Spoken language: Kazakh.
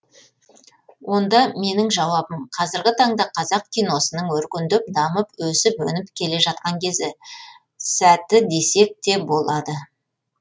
онда менің жауабым қазіргі таңда қазақ киносының өркендеп дамып өсіп өніп келе жатқан кезі сәті десек те болады